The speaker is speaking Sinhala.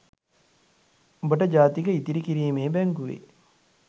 උඹට ජාතික ඉතිරිකිරීමේ බැංකුවේ